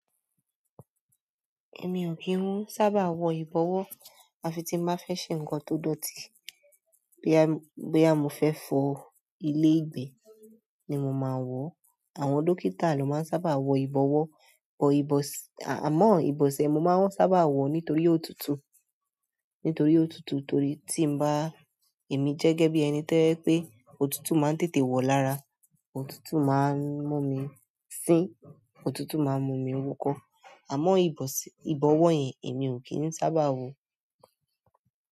Èmi ò kí ń sábà wọ ìbọ̀wọ́. Àfi tí n bá fẹ́ ṣe ǹkan tó dọ̀tí, boya mọ́ fẹ́ fọ ilé ìgbé ni mo màá wọ. Àwọn dókítà ló máa ń sábà wọ ìbọ̀wọ́, àmọ́ ìbọ̀sẹ̀ mo máa ń sábà wọ nítorí ó tùtù. Nítorí ó tùtù torí tí ń bá, èmi jẹ́gẹ́ bí ẹni tí ó pé òtútù máa ń tètè wọ̀ lára, òtútù máa ń mú mi sín, òtútù máa ń mú mi wúkọ. Àmọ́ ìbọ̀wọ́ yẹn èmi ò kí ń sábà wọ.